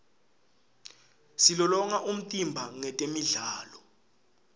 silolonga umtimba ngetemidlalo